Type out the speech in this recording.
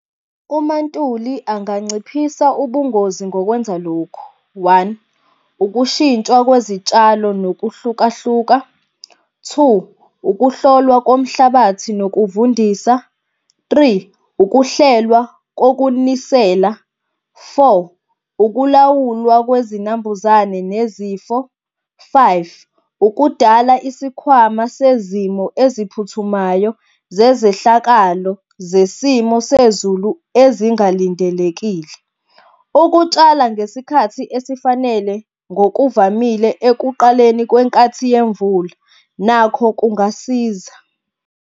UMaNtuli anganciphisa ubungozi ngokwenza lokhu, one, ukushintsha kwezitshalo nokuhlukahluka. Two, ukuhlolwa komhlabathi nokuvundisa. Three, ukuhlelwa kokunisela. Four, ukulawulwa kwezinambuzane nezifo. Five, ukudala isikhwama sezimo eziphuthumayo zezehlakalo zesimo sezulu ezingalindelekile. Ukutshala ngesikhathi esifanele ngokuvamile ekuqaleni kwenkathi yemvula, nakho kungasiza.